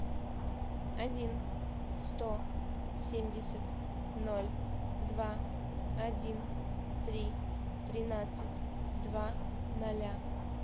один сто семьдесят ноль два один три тринадцать два ноля